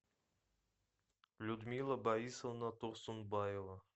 людмила борисовна турсунбаева